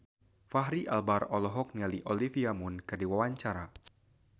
Fachri Albar olohok ningali Olivia Munn keur diwawancara